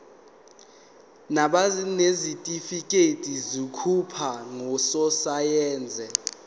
nabanezitifikedi zokuba ngososayense